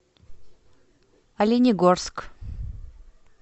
оленегорск